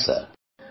হ্যাঁ সার